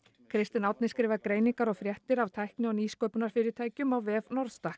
kristinn Árni skrifar greiningar og fréttir af tækni og nýsköpunarfyrirtækjum á vef